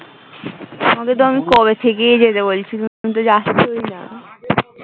তোমাকে তো আমি কবে থেকে যেতে বলছি তুমি তো যাচ্ছই না